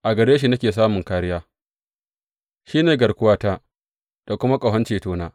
A gare shi nake samun kāriya shi ne garkuwata da kuma ƙahon cetona.